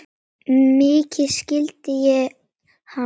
Mikið skildi ég hann vel.